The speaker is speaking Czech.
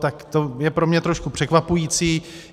Tak to je pro mě trošku překvapující.